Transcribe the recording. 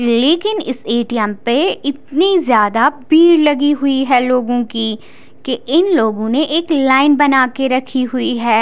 लेकिन इस ए_टी_एम पर भीड़ लगी हुई है लोगो की की इन लोगो ने लाइन बना के रखी है।